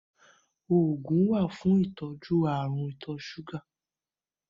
Oògùn wá fún ìtọ́jú Àrùn ìtọ̀ ṣúga.